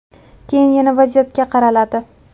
Keyin yana vaziyatga qaraladi.